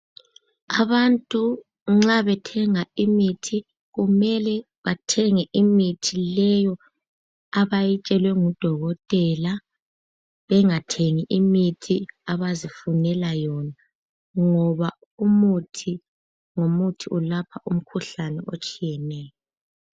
abantu nxa bethenga imithi kumele aimithi leyo abayitshelwe ngudokotela bengathengi leyo abazifunela yona ngoba umuthi ngomuthi ulapha umkhuhlane eotshiyeneyo